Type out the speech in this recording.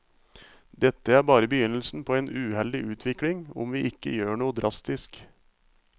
Dette er bare begynnelsen på en uheldig utvikling om vi ikke gjør noe drastisk.